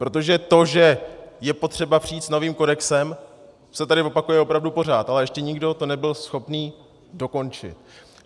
Protože to, že je potřeba přijít s novým kodexem, se tady opakuje opravdu pořád, ale ještě nikdo to nebyl schopen dokončit.